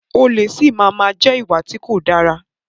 Olè si máa má jẹ́ ìwà tí kò dára.